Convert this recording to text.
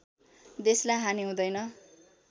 देशलाई हानि हुँदैन